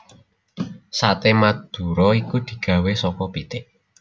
Sate Madura iku digawé saka pitik